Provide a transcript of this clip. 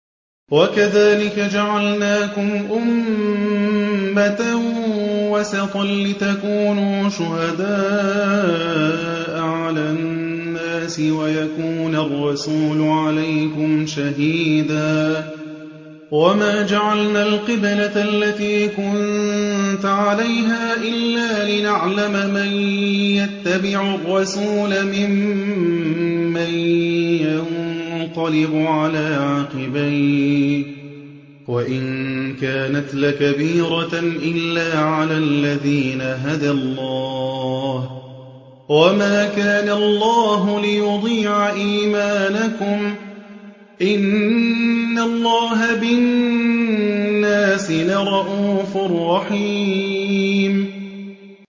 وَكَذَٰلِكَ جَعَلْنَاكُمْ أُمَّةً وَسَطًا لِّتَكُونُوا شُهَدَاءَ عَلَى النَّاسِ وَيَكُونَ الرَّسُولُ عَلَيْكُمْ شَهِيدًا ۗ وَمَا جَعَلْنَا الْقِبْلَةَ الَّتِي كُنتَ عَلَيْهَا إِلَّا لِنَعْلَمَ مَن يَتَّبِعُ الرَّسُولَ مِمَّن يَنقَلِبُ عَلَىٰ عَقِبَيْهِ ۚ وَإِن كَانَتْ لَكَبِيرَةً إِلَّا عَلَى الَّذِينَ هَدَى اللَّهُ ۗ وَمَا كَانَ اللَّهُ لِيُضِيعَ إِيمَانَكُمْ ۚ إِنَّ اللَّهَ بِالنَّاسِ لَرَءُوفٌ رَّحِيمٌ